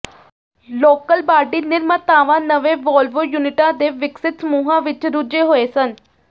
local body ਨਿਰਮਾਤਾਵਾਂ ਨਵੇਂ Volvo ਯੂਨਿਟਾਂ ਦੇ ਵਿਕਸਿਤ ਸਮੂਹਾਂ ਵਿੱਚ ਰੁੱਝੇ ਹੋਏ ਸਨ